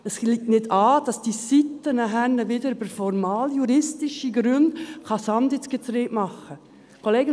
Es geht nicht an, dass diese Seite nachher wieder mit formaljuristischen Gründen Sand ins Getriebe streuen kann.